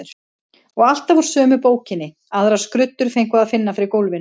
Og alltaf úr sömu bókinni, aðrar skruddur fengu að finna fyrir gólfinu.